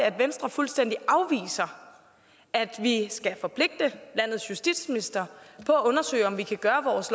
at venstre fuldstændig afviser at vi skal forpligte landets justitsminister på at undersøge om vi kan gøre vores